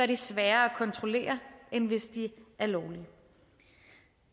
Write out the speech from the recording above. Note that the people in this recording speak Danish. de sværere at kontrollere end hvis de er lovlige